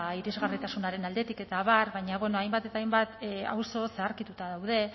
irisgarritasunaren aldetik eta abar baina bueno hainbat eta hainbat auzo zaharkituta daude